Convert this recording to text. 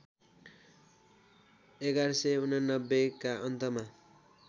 ११८९ का अन्तमा